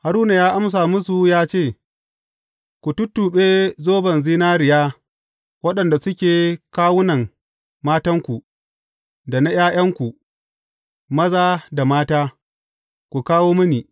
Haruna ya amsa musu ya ce, Ku tuttuɓe zoban zinariya waɗanda suke kunnuwan matanku, da na ’ya’yanku maza da mata, ku kawo mini.